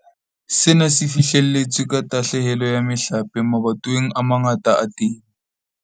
Sena se fihlelletswe ka tahlehelo ya mehlape mabatoweng a mangata a temo.